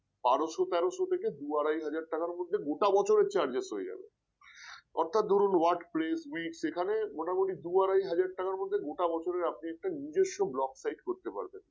বারশো তেরশ থেকে দু আড়াই হাজার টাকার মধ্যে গোটা বছরের charges হয়ে যাবে অর্থাৎ ধরুন word press meet এখানে ধরুন দু আড়াই হাজার টাকার মধ্যে গোটা বছরের আপনি একটা নিজস্ব blog site করতে পারবেন